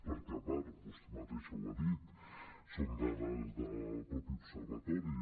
perquè a part vostè mateixa ho ha dit són dades del mateix observatori